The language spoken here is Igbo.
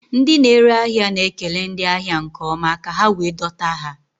Ndị na-ere ahịa na-ekele ndị ahịa nke ọma ka ha wee dọta ha